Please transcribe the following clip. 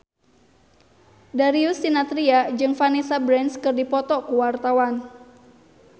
Darius Sinathrya jeung Vanessa Branch keur dipoto ku wartawan